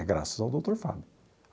É graças ao doutor Fábio.